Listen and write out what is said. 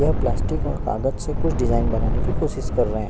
यह प्लास्टिक और कागज से कुछ डिजाइन बनाने की कोशिश कर रहे हैं।